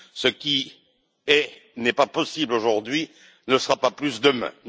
Ce qui n'est pas possible aujourd'hui ne le sera pas plus demain.